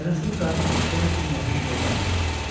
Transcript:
Nənəsinin qarnı okean kimi nəhəng və dərin idi.